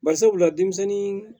Barisabula denmisɛnnin